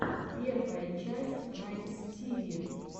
первая часть раймстиви